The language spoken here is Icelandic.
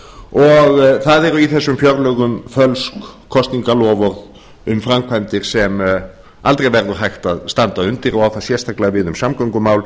og það eru í þessum fjárlögum fölsk kosningaloforð um framkvæmdir sem aldrei verður hægt að standa undir og á það sérstaklega við um samgöngumál